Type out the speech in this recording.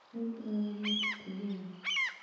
Nĩ ngoro ya mũndũ tu mwene